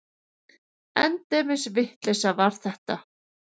Endemis vitleysa var þetta!